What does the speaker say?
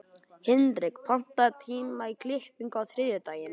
Hinrik, pantaðu tíma í klippingu á þriðjudaginn.